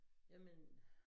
Jamen